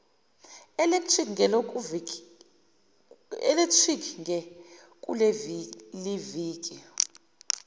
electric ge kuleliviki